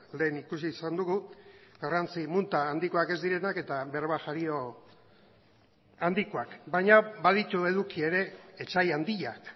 lehen ikusi izan dugu garrantzi munta handikoak ez direnak eta berba jario handikoak baina baditu eduki ere etsai handiak